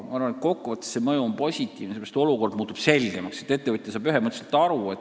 Ma arvan, et kokkuvõttes see mõju on positiivne – olukord muutub selgemaks, sest ettevõtja saab seadusest ühemõtteliselt aru.